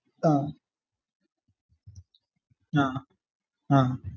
ആഹ് ആഹ് ആഹ്